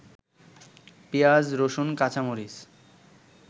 পিঁয়াজ, রসুন, কাঁচামরিচ